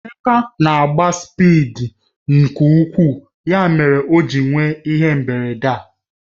Emeka na-agba spịdi nke ukwuu ya mere o ji nwee ihe mberede a